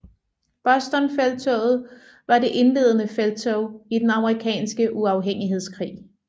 Bostonfelttoget var det indledende felttog i den Amerikanske uafhængighedskrig